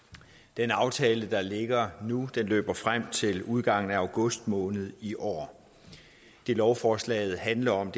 den aftale der ligger nu løber frem til udgangen af august måned i år det lovforslaget handler om